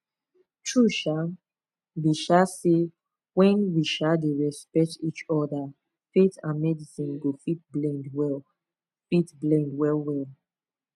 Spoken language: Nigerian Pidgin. truth um be um say when we um dey respect each other faith and medicine go fit blend well fit blend well well